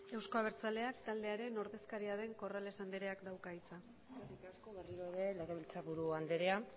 euzko abertzaleak taldearen ordezkaria den corrales andereak dauka hitza eskerri asko legebiltzarburu anderea